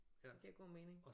Det giver god mening